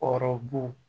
Hɔrɔn bo